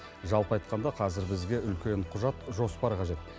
жалпы айтқанда қазір бізге үлкен құжат жоспар қажет